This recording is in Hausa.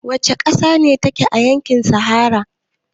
Wace ƙasa ce take a yankin sahara?